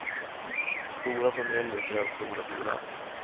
Och stora familjer kräver stora bilar.